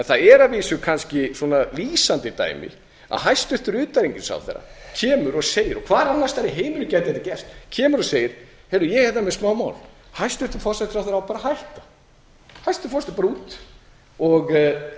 það er að vísu kannski svona lýsandi dæmi að hæstvirtur utanríkisráðherra kemur og segir og hvar annars staðar í heiminum gæti þetta gerst kemur og segir heyrðu ég er hérna með smámál hæstvirtur forsætisráðherra á bara að hætta hæstvirtur forsætisráðherra bara út er það prinsipp